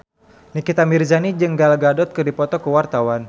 Nikita Mirzani jeung Gal Gadot keur dipoto ku wartawan